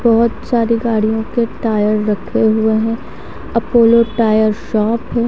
बहोत सारी गाडियों के टायर रखे हुए हो अप्पोलो टायर्स --